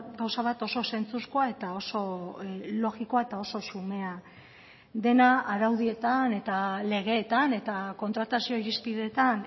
gauza bat oso zentzuzkoa eta oso logikoa eta oso xumea dena araudietan eta legeetan eta kontratazio irizpideetan